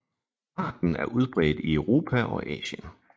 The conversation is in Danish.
Arten er udbredt i Europa og Asien